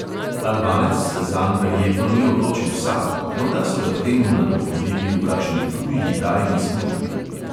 Albanec se zanj verjetno ni odločil sam, morda so ga k temu nagovorili v kakšni tuji tajni službi.